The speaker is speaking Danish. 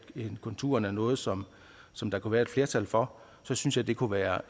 konturerne af noget som som der kunne være et flertal for så synes jeg det kunne være